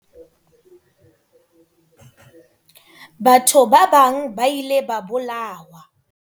Batho ba bang ba ile ba bolawa.